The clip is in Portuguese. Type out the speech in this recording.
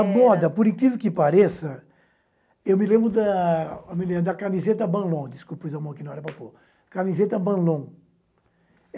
A moda, por incrível que pareça, eu me lembro da eu me lembro da camiseta Banlon. Desculpa, puis a mão que não era para por, camiseta Banlon